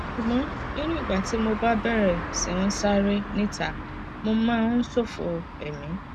ṣùgbọn nínú ìgbà tí mo bá bẹrẹ sí ń sáré níta mo máa ń ṣòfò ẹmí